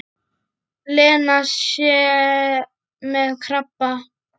Lena sé með krabba.